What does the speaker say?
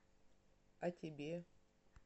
а тебе